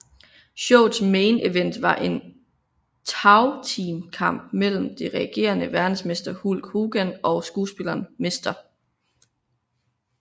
Showets main event var en tagteamkamp mellem den regerende verdensmester Hulk Hogan og skuespilleren Mr